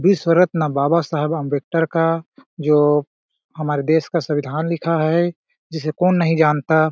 विश्व रत्न बाबा साहेब अंबेक्टर का जो हमारे देश का संविधान लिखा है जिसे कौन नहीं जानता ?--